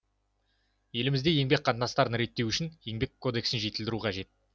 елімізде еңбек қатынастарын реттеу үшін еңбек кодексін жетілдіру қажет